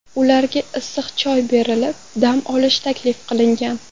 Ularga issiq choy berilib, dam olish taklif qilingan.